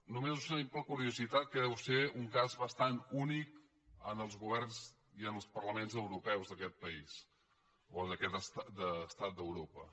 només observin per curiositat que deu ser un cas bastant únic en els governs i en els parlaments europeus d’aquest país o d’aquest estat d’europa